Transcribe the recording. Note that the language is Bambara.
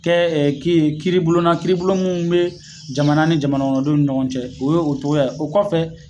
Kɛ e ki kiribulon na kiiribulon mun be jamana ni jamanakɔnɔdenw ni ɲɔgɔn cɛ o ye o togo ye o kɔfɛ